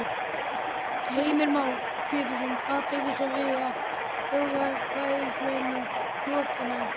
Heimir Már Pétursson: Hvað tekur svo við að þjóðaratkvæðagreiðslunni lokinni?